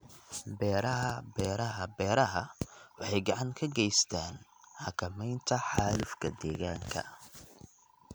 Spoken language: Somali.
Beeraha Beeraha Beeraha waxay gacan ka geystaan ??xakamaynta xaalufka deegaanka.